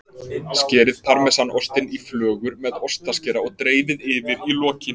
Skerið parmesanostinn í flögur með ostaskera og dreifið yfir í lokin.